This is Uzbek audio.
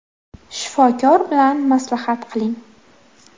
Shifokor bilan maslahat qiling”.